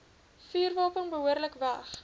vuurwapen behoorlik weg